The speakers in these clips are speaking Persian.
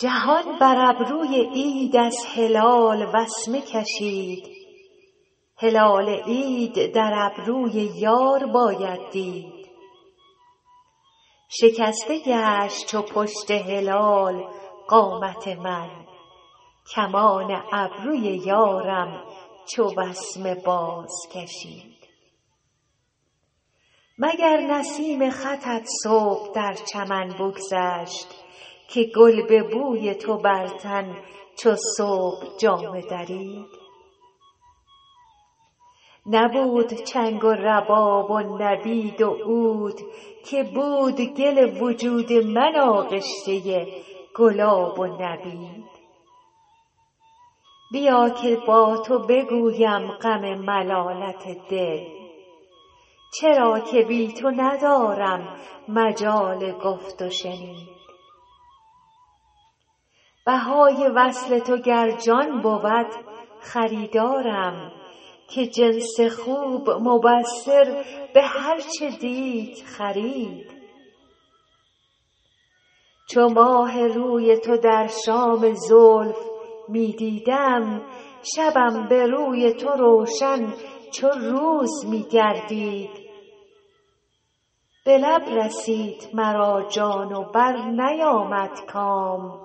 جهان بر ابروی عید از هلال وسمه کشید هلال عید در ابروی یار باید دید شکسته گشت چو پشت هلال قامت من کمان ابروی یارم چو وسمه بازکشید مگر نسیم خطت صبح در چمن بگذشت که گل به بوی تو بر تن چو صبح جامه درید نبود چنگ و رباب و نبید و عود که بود گل وجود من آغشته گلاب و نبید بیا که با تو بگویم غم ملالت دل چرا که بی تو ندارم مجال گفت و شنید بهای وصل تو گر جان بود خریدارم که جنس خوب مبصر به هر چه دید خرید چو ماه روی تو در شام زلف می دیدم شبم به روی تو روشن چو روز می گردید به لب رسید مرا جان و برنیامد کام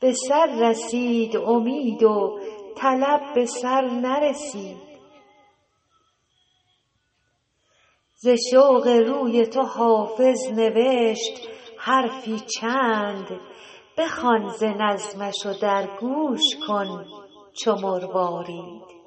به سر رسید امید و طلب به سر نرسید ز شوق روی تو حافظ نوشت حرفی چند بخوان ز نظمش و در گوش کن چو مروارید